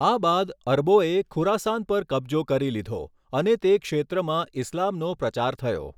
આ બાદ અરબોએ ખુરાસાન પર કબ્જો કરી લીધો અને તે ક્ષેત્રમાં ઇસ્લામનો પ્રચાર થયો.